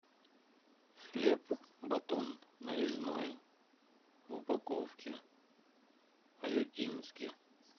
хлеб батон нарезной в упаковке аютинский